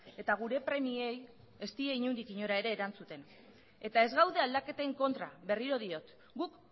eta gure premiei ez die inondik inora ere erantzuten eta ez gaude aldaketen kontra berriro diot guk